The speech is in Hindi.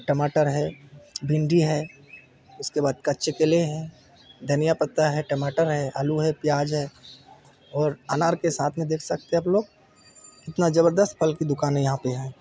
टमाटर है भिंडी है उसके बाद कच्चे केले है धनिया पत्ता है टमाटर है आलू है प्याज है और अनार के साथ में देख सकते है आप लोग कितना जबरदस्त फल की दूकान है यहाँ पे यहाँ--